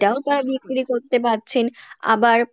সেটাও তারা বিক্রি করতে পারছেন আবার